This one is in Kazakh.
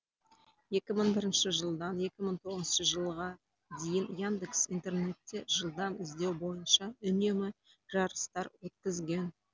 екі мың бірінші жылдан екі мың тоғызыншы жылға дейін яндекс интернетте жылдам іздеу бойынша үнемі жарыстар өткізген